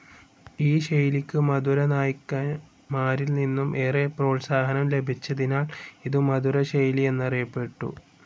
ഈ ശൈലിക്ക് മധുരനായ്ക്കന്മാരിൽനിന്നു ഏറെ പ്രോത്സാഹനം ലഭിച്ചതിനാൽ ഇതു മധുരശൈലി എന്നറിയപ്പെട്ടു.